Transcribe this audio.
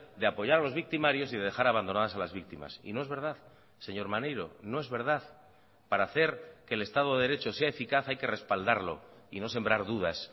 de apoyar los victimarios y de dejar abandonadas a las víctimas y no es verdad señor maneiro no es verdad para hacer que el estado de derecho sea eficaz hay que respaldarlo y no sembrar dudas